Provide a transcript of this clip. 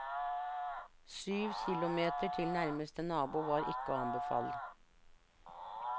Syv kilometer til nærmeste nabo var ikke å anbefale.